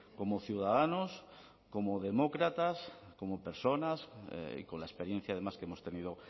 como ciudadanos como demócratas como personas y con la experiencia además que hemos tenido